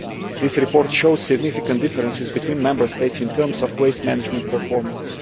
This report shows significant differences between Member States in terms of waste management performance.